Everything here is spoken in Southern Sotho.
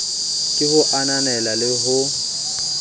ke ho ananela le ho